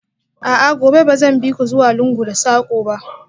A'a, gobe ba zan bi ku zuwa lungu da sako ba?